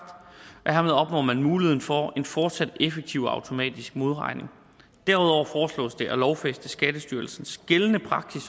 hermed opnår man muligheden for en fortsat effektiv automatisk modregning derudover foreslås det at lovfæste skattestyrelsens gældende praksis